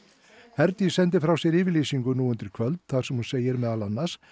Herdís sendi frá sér yfirlýsingu nú undir kvöld þar sem hún segir meðal annars